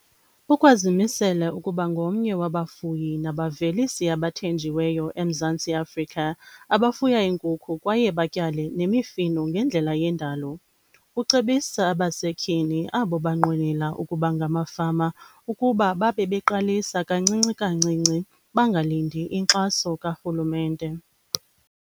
Ukwazimisele ukuba ngomnye wabafuyi nabavelisi abathenjiweyo eMzantsi Afrika abafuya iinkukhu kwaye batyale nemifuno ngendlela yendalo. Ucebisa abasetyhini abo banqwenela ukuba ngamafama ukuba babebeqalisa kancinci kancinci, bangalindi inkxaso karhulumente.